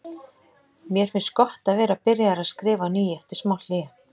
Mér finnst gott að vera byrjaður að skrifa á ný eftir smá hlé.